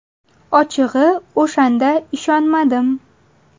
Ochig‘i, o‘shanda ishonmadim.